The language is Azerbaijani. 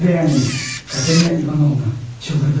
Və ananız, Katerina İvanovna, dəli oldu.